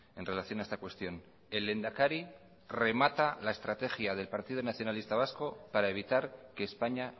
en relación a esta cuestión el lehendakari remata la estrategia del partido nacionalista vasco para evitar que españa